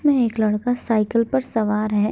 में एक लड़का साइकिल पर सवार है।